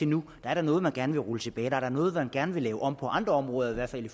nu er der noget man gerne vil rulle tilbage der er noget man gerne vil lave om på andre områder i hvert fald i